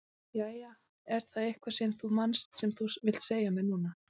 Jæja, er það eitthvað sem þú manst sem þú vilt segja mér núna?